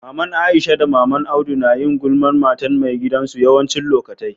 Mama Aisha da mama'n Audu na yin gulman matan mai gidan su yawanci lokatai.